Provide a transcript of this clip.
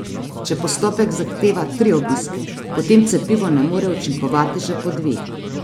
Če postopek zahteva tri obiske, potem cepivo ne more učinkovati že po dveh.